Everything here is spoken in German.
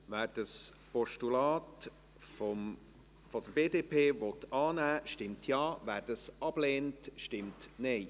Wer das Postulat der BDP annehmen will, stimmt Ja, wer dies ablehnt, stimmt Nein.